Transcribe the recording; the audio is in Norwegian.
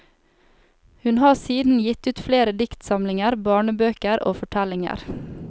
Hun har siden gitt ut flere diktsamlinger, barnebøker og fortellinger.